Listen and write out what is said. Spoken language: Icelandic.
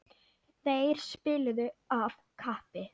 Þeir spiluðu af kappi.